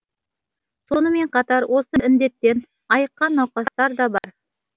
сонымен қатар осы індеттен айыққан науқастар да бар